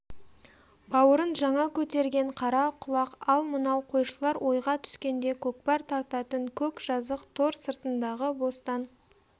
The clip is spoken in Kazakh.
бауырын жаңа көтерген қарақұлақ ал мынау қойшылар ойға түскенде көкпар тартатын көк жазық тор сыртындағы бостан